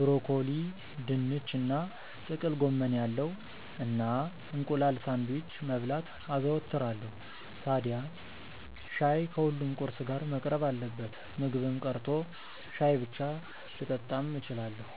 (ብሮኮሊ፣ ድንች እና ጥቅል ጎመን ያለው) እና እንቁላል ሳንድዊች መብላት አዘወትራለው። ታድያ ሻይ ከሁሉም ቁርስ ጋር መቅረብ አለበት። ምግብም ቀርቶ ሻይ ብቻ ልጠጣም እችላለው።